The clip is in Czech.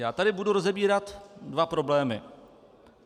Já tady budu rozebírat dva problémy.